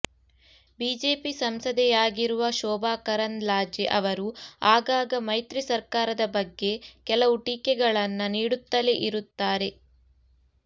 BJP ಸಂಸದೆಯಾಗಿರುವ ಶೋಭಾ ಕರಂದ್ಲಾಜೆ ಅವರು ಆಗಾಗ ಮೈತ್ರಿ ಸರ್ಕಾರದ ಬಗ್ಗೆ ಕೆಲವು ಟಿಕೆಗಳನ್ನ ನೀಡುತ್ತಲೇ ಇರುತ್ತಾರೆ